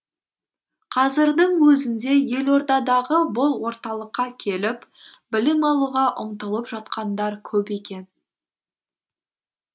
қазірдің өзінде елордадағы бұл орталыққа келіп білім алуға ұмтылып жатқандар көп екен